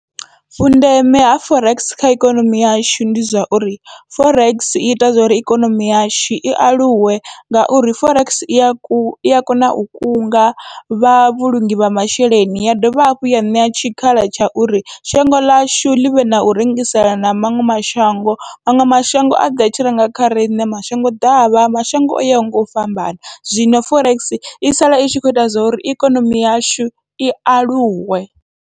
Vhundeme ha forex kha ikonomi yashu, ndi zwa uri forex iita zwori ikonomi yashu i aluwe ngauri forex iya ku ia kona u kunga vha vhulungi ha masheleni, ya dovha hafhu ya ṋea tshikhala tsha uri shango ḽashu ḽivhe nau rengiselana na maṅwe mashango maṅwe mashango aḓe atshi renga kha riṋe mashango ḓavha mashango o yaho ngau fhambana, zwino forex i sala itshi kho ita zwa uri ikonomi yashu i aluwe.